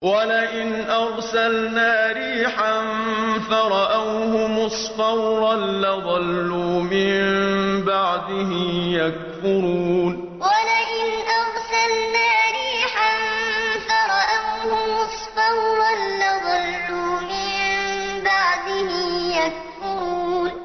وَلَئِنْ أَرْسَلْنَا رِيحًا فَرَأَوْهُ مُصْفَرًّا لَّظَلُّوا مِن بَعْدِهِ يَكْفُرُونَ وَلَئِنْ أَرْسَلْنَا رِيحًا فَرَأَوْهُ مُصْفَرًّا لَّظَلُّوا مِن بَعْدِهِ يَكْفُرُونَ